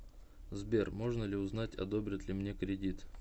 сбер можно ли узнать одобрят ли мне кредит